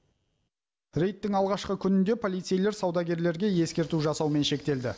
рейдтің алғашқы күнінде полицейлер саудагерлерге ескерту жасаумен шектелді